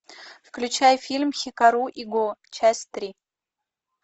включай фильм хикару и го часть три